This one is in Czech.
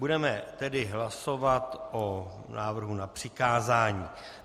Budeme tedy hlasovat o návrhu na přikázání.